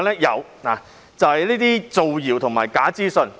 有，就是那些謠言和假資訊。